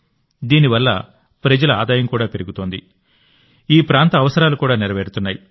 దీని వల్ల ప్రజల ఆదాయం కూడా పెరుగుతోంది ఈ ప్రాంత అవసరాలు కూడా నెరవేరుతున్నాయి